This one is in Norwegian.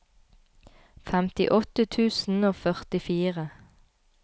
femtiåtte tusen og førtifire